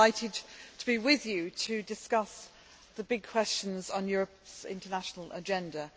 I am delighted to be with you to discuss the big questions on Europe's international agenda.